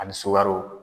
Ani sogoro